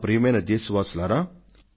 ప్రియమైన నా దేశ వాసులారా